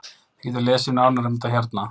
Þið getið lesið nánar um þetta hérna.